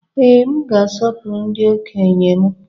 Ee, m ga-asọpụrụ ndị okenye m.